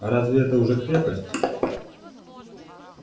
а разве это уже крепость